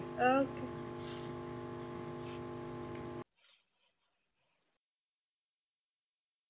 okay